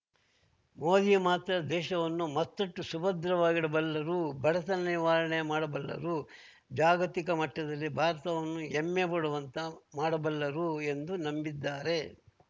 ಮೋದಿ ಮಾತ್ರ ದೇಶವನ್ನು ಮತ್ತಷ್ಟುಸುಭದ್ರವಾಗಿಡಬಲ್ಲರು ಬಡತನ ನಿವಾರಣೆ ಮಾಡಬಲ್ಲರು ಜಾಗತಿಕ ಮಟ್ಟದಲ್ಲಿ ಭಾರತವನ್ನು ಹೆಮ್ಮೆ ಪಡುವಂತೆ ಮಾಡಬಲ್ಲರು ಎಂದು ನಂಬಿದ್ದಾರೆ